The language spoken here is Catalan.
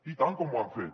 i tant que ho han fet